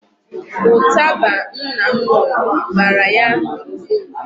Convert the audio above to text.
Ụtaba nna m ṅụrụ bara ya n'ụbụrụ.